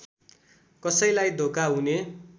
कसैलाई धोका हुने